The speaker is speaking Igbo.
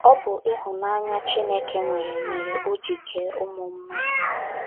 Ọ bụ ịhụnanya Chineke nwere mere o ji kee ụmụ mmadụ..